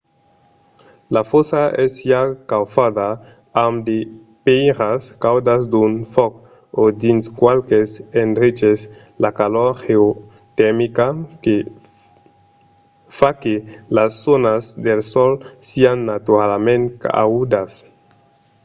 la fòssa es siá caufada amb de pèiras caudas d'un fòc o dins qualques endreches la calor geotermica fa que las zònas del sòl sián naturalament caudas